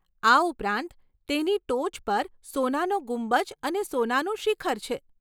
આ ઉપરાંત તેની ટોચ પર સોનાનો ગુંબજ અને સોનાનું શિખર છે.